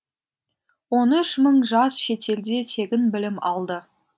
он үш мың жас шетелде тегін білім алды